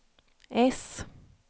S